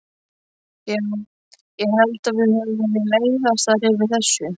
Já, ég held að við höfum verið leiðastar yfir þessu.